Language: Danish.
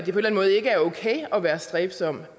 måde ikke er okay at være stræbsom